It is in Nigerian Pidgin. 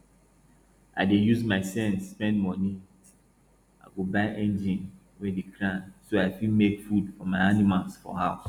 i dey use my sense spend money i go buy engine wey dey grind so i fit make food for my animals for house